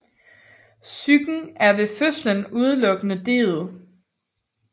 Psyken er ved fødslen udelukkende detet